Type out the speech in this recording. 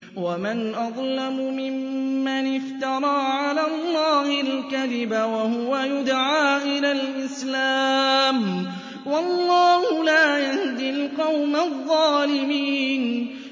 وَمَنْ أَظْلَمُ مِمَّنِ افْتَرَىٰ عَلَى اللَّهِ الْكَذِبَ وَهُوَ يُدْعَىٰ إِلَى الْإِسْلَامِ ۚ وَاللَّهُ لَا يَهْدِي الْقَوْمَ الظَّالِمِينَ